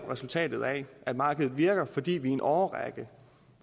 resultat af at markedet virker fordi vi i en årrække